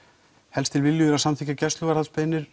helst til viljugir að samþykkja